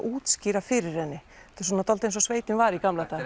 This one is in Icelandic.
útskýra fyrir henni þetta er svona dálítið eins og sveitin var í gamla daga